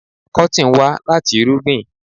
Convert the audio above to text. Kọ́tìn wà láti irúgbìn?